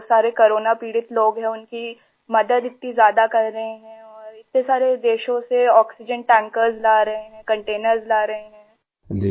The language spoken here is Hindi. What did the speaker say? जो सारे कोरोना पीड़ित लोग हैं उनकी मदद इतनी ज्यादा कर रहे हैं और इतने सारे देशों से आक्सीजेन tankersला रहे हैंकंटेनर्स ला रहे हैं आई